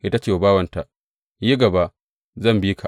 Sai ta ce wa bawanta, Yi gaba, zan bi ka.